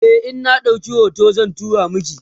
e in na ɗauki hoton zan turo maki